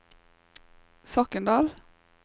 Soknedal